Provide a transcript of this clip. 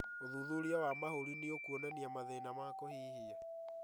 ũthuthuria wa mahũri nĩũkuonania mathĩna ma kũhihia